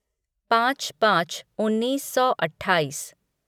पाँच पाँच उन्नीस सौ अट्ठाईस